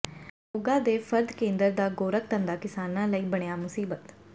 ਮੋਗਾ ਦੇ ਫ਼ਰਦ ਕੇਂਦਰ ਦਾ ਗੋਰਖ ਧੰਦਾ ਕਿਸਾਨਾਂ ਲਈ ਬਣਿਆ ਮੁਸੀਬਤ